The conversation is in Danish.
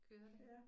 Kører det